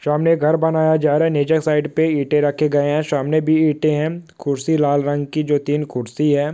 है सामने बैठे है कुर्सी लाल रंग की जो तीन कुर्सी है।